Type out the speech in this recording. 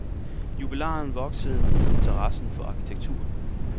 Jubilaren voksede op med interessen for arkitektur.